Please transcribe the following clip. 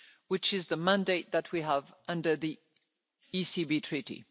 which is the mandate that we have under the ECB Treaty.